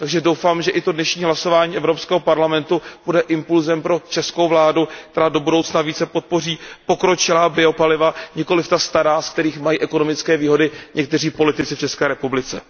Takže doufám, že dnešní hlasování Evropského parlamentu bude impulzem pro českou vládu, která do budoucna více podpoří pokročilá biopaliva, nikoliv ta stará, ze kterých mají ekonomické výhody někteří politici v České republice.